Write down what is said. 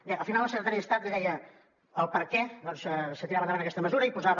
bé al final el secretari d’estat li deia per què es tirava endavant aquesta mesura i posava